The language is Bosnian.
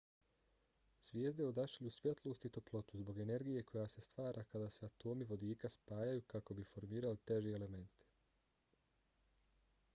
zvijezde odašilju svjetlost i toplotu zbog energije koja se stvara kada se atomi vodika spajaju kako bi formirali teže elemente